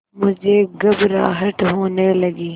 मुझे घबराहट होने लगी